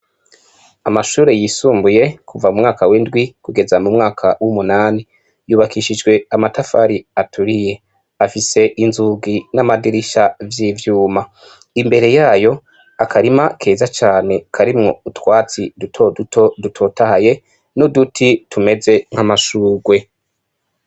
Amashure yisumbuye kuva mu mwaka w' indwi kugeza mu mwaka w' umunani yubakishijwe amatafari aturiye afise inzugi n' amadirisha vy' ivyuma imbere yayo akarima keza cane karimwo utwatsi duto duto dutotahaye n' uduti tumeze nk' amashugwe.